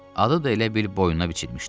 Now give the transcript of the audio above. Adı da elə bil boynuna biçilmişdi.